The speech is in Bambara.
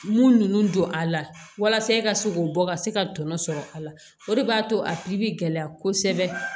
Mun ninnu don a la walasa e ka se k'o bɔ ka se ka tɔnɔ sɔrɔ a la o de b'a to a bɛ gɛlɛya kosɛbɛ